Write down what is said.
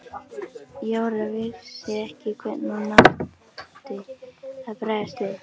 Jóra vissi ekki hvernig hún átti að bregðast við.